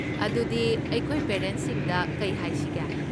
ꯑꯗꯨꯗꯤ, ꯑꯩꯈꯣꯏ ꯄꯦꯔꯦꯟꯠꯁꯤꯡꯗ ꯀꯩ ꯍꯥꯏꯁꯤꯒꯦ?